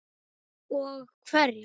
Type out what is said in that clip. Og hverja?